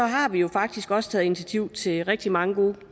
har vi jo faktisk også taget initiativ til rigtig mange